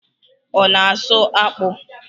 Ọ na asụ akpụ?